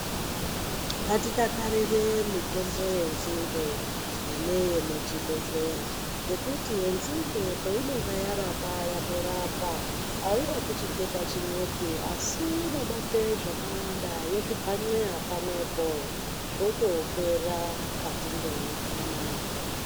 Ngatidakarire mitombo yenzinde paneyemuchibhedhleya ngekuti yenzinde painenge yarapa yatorapa. Airapi chitenda chimwepi asi inobate zvakawanda yozvibhanxeya pamwepo zvotopera mukati mwenyama yako.